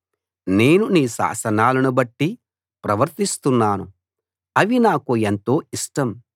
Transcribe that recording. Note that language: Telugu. నేను నీ శాసనాలనుబట్టి ప్రవర్తిస్తున్నాను అవి నాకు ఎంతో ఇష్టం